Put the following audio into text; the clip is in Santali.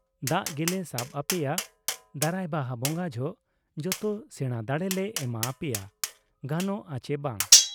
ᱫᱟᱜ ᱜᱮᱞᱮ ᱥᱟᱵ ᱟᱯᱮᱭᱟ, ᱫᱟᱨᱟᱭ ᱵᱟᱦᱟ ᱵᱚᱝᱜᱟ ᱡᱚᱦᱚᱜ ᱡᱚᱛᱚ ᱥᱮᱬᱟ ᱫᱟᱬᱮ ᱞᱮ ᱮᱢᱟ ᱟᱯᱮᱭᱟ ᱾ ᱜᱟᱱᱚᱜ ᱟ ᱪᱮ ᱵᱟᱝ ?